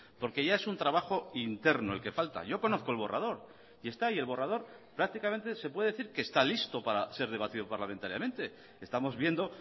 porque ya es un trabajo interno el que falta yo conozco el borrador y está ahí el borrador prácticamente se puede decir que está listo para ser debatido parlamentariamente estamos viendo